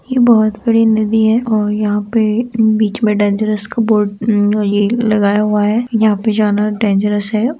ये बोहोत बड़ी नदी है और यहाँ पे बीच में डेंजरस का बोर्ड अम ये लगाया हुआ है यहाँ पे जाना डें है।